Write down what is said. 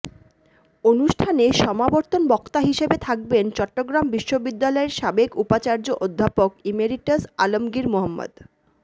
অনুষ্ঠানে সমাবর্তন বক্তা হিসেবে থাকবেন চট্টগ্রাম বিশ্ববিদ্যালয়ের সাবেক উপাচার্য অধ্যাপক ইমেরিটাস আলমগীর মো